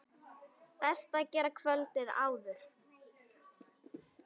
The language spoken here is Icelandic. Best að gera kvöldið áður.